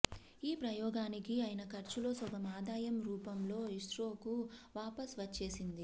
ఈ ప్రయోగానికి అయిన ఖర్చులో సగం ఆదాయం రూపంలో ఇస్రోకు వాపస్ వచ్చేసింది